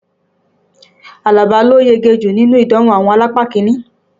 Àlàbá ló yege jùlọ́ nínú ìdánwò àwọn alápá kiní